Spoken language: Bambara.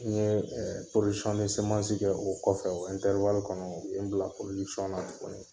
N ye kɛ o kɔfɛ o kɔnɔ u ye n bila na tuguni.